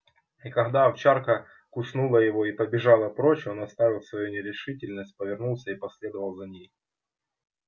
и когда овчарка куснула его и побежала прочь он оставил свою нерешительность повернулся и последовал за ней